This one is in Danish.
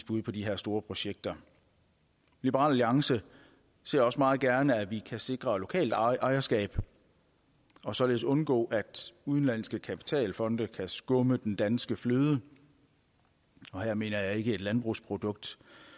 bud på de her store projekter liberal alliance ser også meget gerne at vi kan sikre lokalt ejerskab og således undgå at udenlandske kapitalfonde kan skumme den danske fløde og her mener jeg ikke et landbrugsprodukt